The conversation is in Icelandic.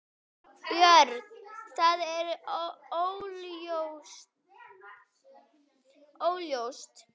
Björn: Það er óljóst?